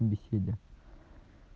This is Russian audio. в беседе